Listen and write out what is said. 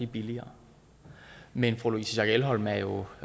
billigere men fru louise schack elholm er jo